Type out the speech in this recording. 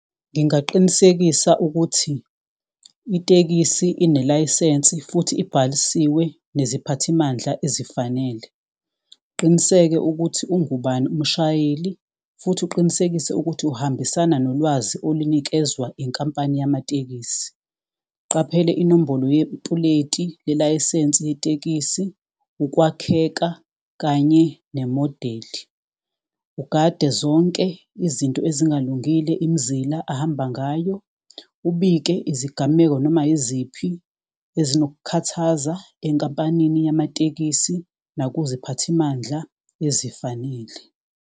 Ngingaqinisekisa ukuthi itekisi inelayisensi futhi ibhalisiwe neziphathimandla ezifanele. Qiniseke ukuthi ungubani umshayeli futhi uqinisekise ukuthi uhambisana nolwazi olunikezwa inkampani yamatekisi. Qaphele inombolo yepuleti lelayisensi yetekisi, ukwakheka kanye nemodeli. Ugade zonke izinto ezingalungile, imizila ahamba ngayo, ubike izigameko noma iziphi. Ezinokukhathaza enkampanini yamatekisi nakuziphathimandla ezifanele.